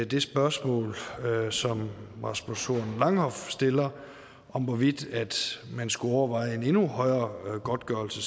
det spørgsmål som rasmus horn langhoff stiller om hvorvidt man skulle overveje en endnu højere godtgørelse